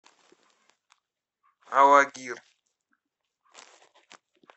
алагир